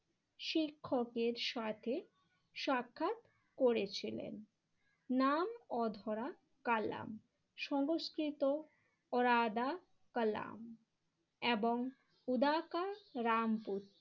শিক্ষকের সাথে সাক্ষাৎ করেছিলেন। নাম অধরা কালাম সংস্কৃত ওরাদা কলাম এবং উদাকা রামপুর